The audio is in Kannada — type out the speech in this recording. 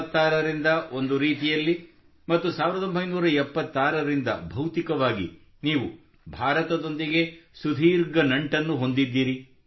1966 ರಿಂದ ಒಂದು ರೀತಿಯಲ್ಲಿ ಮತ್ತು 1976 ರಿಂದ ಭೌತಿಕವಾಗಿ ನೀವು ಭಾರತದೊಂದಿಗೆ ಸುದೀರ್ಘ ನಂಟನ್ನು ಹೊಂದಿದ್ದೀರಿ